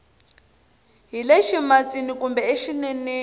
hi le ximatsini kumbe exineneni